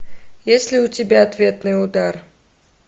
есть ли у тебя ответный удар